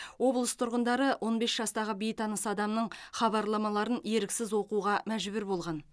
облыс тұрғындары он бес жастағы бейтаныс адамның хабарламаларын еріксіз оқуға мәжбүр болған